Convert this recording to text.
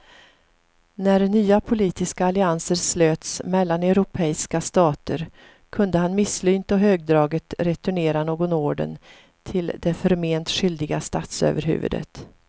När nya politiska allianser slöts mellan europeiska stater kunde han misslynt och högdraget returnera någon orden till det förment skyldiga statsöverhuvudet.